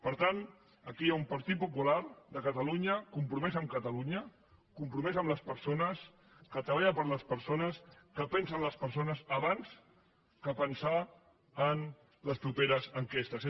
per tant aquí hi ha un partit popular de catalunya compromès amb catalunya compromès amb les persones que treballa per les persones que pensa en les persones abans que pensar en les properes enquestes